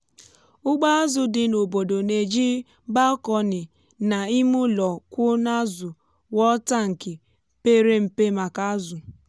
ụgbọ azụ dị n’obodo na-eji balkonị na ime ụlọ kwụ n’azu wuo tankị pere mpe maka azụ.